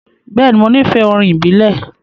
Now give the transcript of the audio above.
Bẹẹni, Mo nifẹ orin ibile.